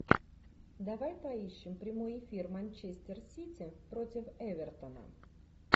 давай поищем прямой эфир манчестер сити против эвертона